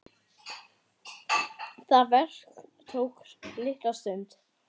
Það verk tók litla stund.